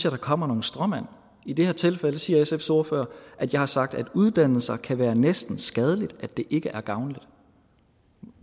at der kommer nogle stråmænd i det her tilfælde siger sfs ordfører at jeg har sagt at uddannelser kan være næsten skadelige og at de ikke er gavnlige